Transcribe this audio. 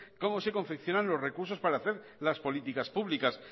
cómo se confeccionan los recursos para hacer las políticas públicas